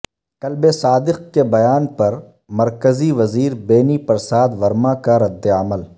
club Sadiq کے بیان پر مرکزی وزیر بینی پرساد ورما کا ردعمل